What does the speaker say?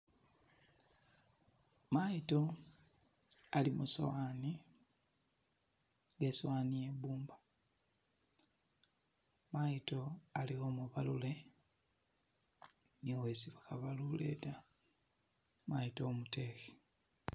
Mayido ali musowani nga isowani yebumba mayido ali umubalule ni wesi bakhabalule ta mayido umudekhe